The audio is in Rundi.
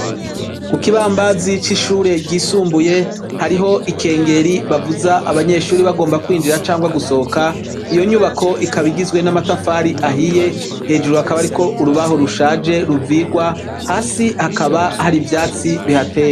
Kukibambazi cishure ryisumbuye hariho ikengeri bavuza abanyeshure bagomba kwinjira canke gusohoka, iyo nyubako ikaba igizwe n'amatafari ahiye, hejuru hakaba hariko urubaho rushaje ruvirwa, hasi hakaba hari ivyatsi bihateye.